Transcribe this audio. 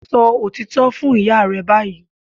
Sọ òtítọ́ fún ìyá rẹ báyìí